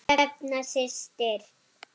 Hrefna systir.